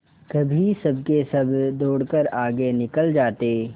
कभी सबके सब दौड़कर आगे निकल जाते